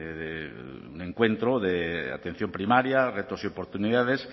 de encuentro de atención primaria retos y oportunidades